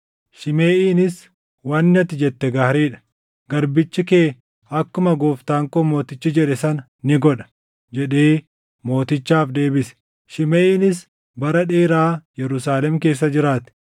Shimeʼiinis, “Wanni ati jette gaarii dha. Garbichi kee akkuma gooftaan koo mootichi jedhe sana ni godha” jedhee mootichaaf deebise. Shimeʼiinis bara dheeraa Yerusaalem keessa jiraate.